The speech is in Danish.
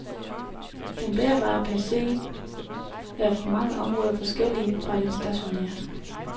Den bærbare PC er på mange områder forskellig fra den stationære.